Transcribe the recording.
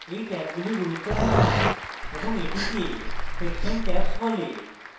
এই ট্যাবগুলি গুরুত্বপূর্ণ এবং এটিকে section tabs বলে